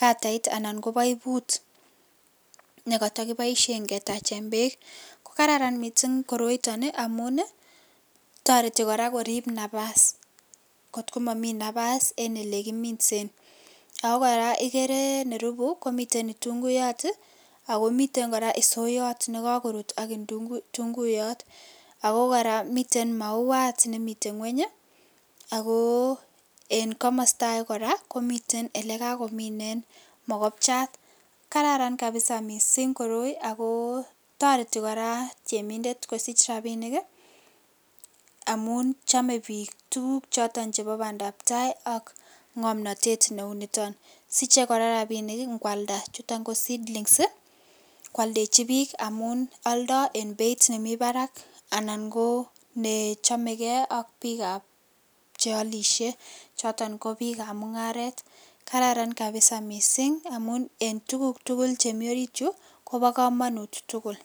katait anan ko poiput nekotokiboishen ketachen beek, ko kararan mising koroiton amun toreti kora korib nabas, too momii nabas en elekiminsen, ak ko kora ikere miten itunguyot ak ko miten kora isoyot nekokorut ak itunguyot ak ko kora miten mauat nemiten ngweny ak ko en komosto akee kora komiten elee kakominen mokobchat, kararan kabisaa mising koroi ak ko toreti kora temindet kosich rabinik amun chome biik tukuk choton chebo bandab taai ak ng'omnotet neuniton, siche kora rabinik ing'walda chuton ko seedlings kwoldechi biik amun oldo en beit nemii barak anan ko nechomeke ak biikab cheolishe choton ko biikab mung'aret, kararan kabisa mising amun en tukuk tukul chemi oriityu kobokomonut tukul.